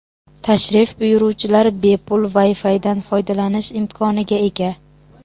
Tashrif buyuruvchilar bepul Wi-Fi dan foydalanish imkoniga ega.